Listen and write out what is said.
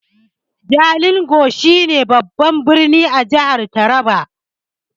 Jalingo shi ne babban birnin jihar taraba